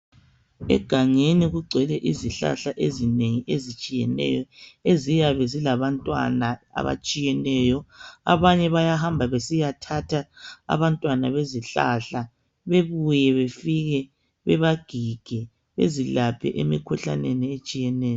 Egangeni kugcwele izihlahla ezinengi ezitshiyeneyo eziyabe zilabantwana abatshiyeneyo abanye bayahamba besiyathatha abantwana bezihlahla bebuye befike bebagige bezilaphe emkhuhlaneni etshiyeneyo.